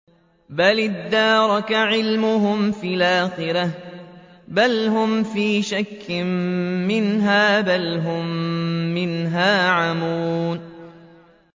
بَلِ ادَّارَكَ عِلْمُهُمْ فِي الْآخِرَةِ ۚ بَلْ هُمْ فِي شَكٍّ مِّنْهَا ۖ بَلْ هُم مِّنْهَا عَمُونَ